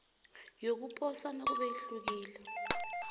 yokuposa nakube ihlukile